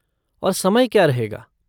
और समय क्या रहेगा?